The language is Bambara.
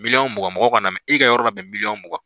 Miliyɔn mugan mɔgɔw ka n namɛn i y'i ka yɔrɔ labɛn miliyɔn mugan.